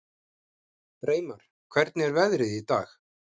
Reimar, hvernig er veðrið í dag?